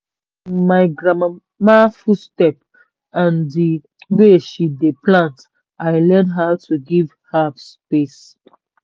na from my grandma footstep and the way she dey plant i learn how to give herbs space.